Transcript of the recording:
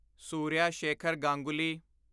Surya Shekhar Ganguly